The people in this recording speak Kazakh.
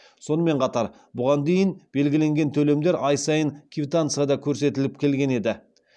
сонымен қатар бұған дейін белгіленген төлемдер ай сайын квитанцияда көрсетіліп келген еді